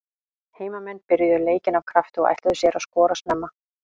Heimamenn byrjuðu leikinn af krafti og ætluðu sér að skora snemma.